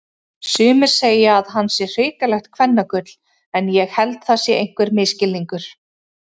Sumir segja að hann sé hrikalegt kvennagull en ég held það sé einhver misskilningur.